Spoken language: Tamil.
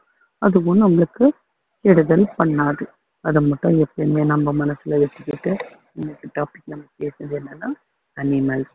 அதுவும் நம்மளுக்கு கெடுதல் பண்ணாது அதை மட்டும் எப்பயுமே நம்ம மனசுல வச்சிக்கிட்டு இன்னைக்கு topic நம்ம பேசுனது என்னன்னா animals